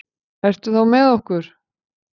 Ertu þá með okkur?